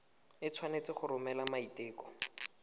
o tshwanetse go romela maiteko